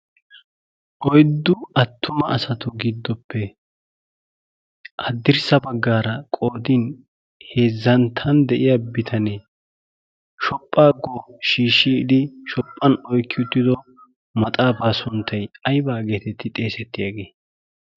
oiddu attuma asatu giddoppe haddirssa baggaara qoodin heezzanttan de7iya bitanee shophphaakko shiishshiidi shophphan oikki uttido maxaafaa sunttai aibaageetetti xeesettygee?